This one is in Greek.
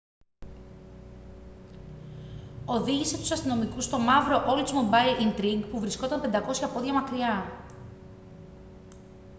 οδήγησε τους αστυνομικούς στο μαύρο oldsmobile intrigue που βρισκόταν 500 πόδια μακριά